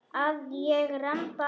Að ég ramba aðeins.